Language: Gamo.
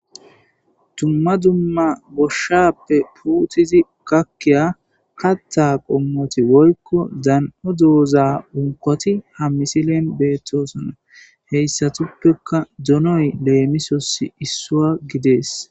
tumma dumma boshshappe puutizi gakkiya hatta qommoti woykko dan7o dooza unkoti ha misilen beettosana heyssatuppeka donoy leemisosi issua gidees